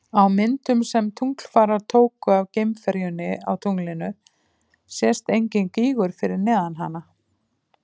Á myndum sem tunglfarar tóku af geimferjunni á tunglinu sést enginn gígur fyrir neðan hana.